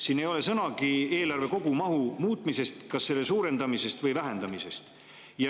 Siin ei ole sõnagi eelarve kogumahu muutmisest, kas selle suurendamisest või vähendamisest.